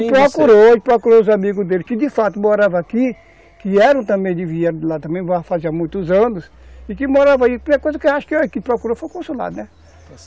Ele procurou, ele procurou os amigos dele, que de fato morava aqui, que eram também de, lá também morava fazia muitos anos, e que morava aí, primeira coisa que ele achou aqui, procurou foi o consulado, né? Está certo.